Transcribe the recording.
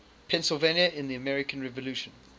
pennsylvania in the american revolution